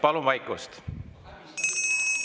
Palun vaikust!